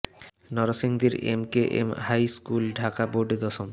নরসিংদীর N K M high school Dhaka বোর্ডে দশম